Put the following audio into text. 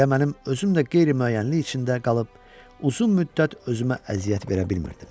Elə mənim özüm də qeyri-müəyyənlik içində qalıb uzun müddət özümə əziyyət verə bilmirdim.